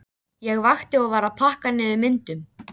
Ég vakti og var að pakka niður myndunum.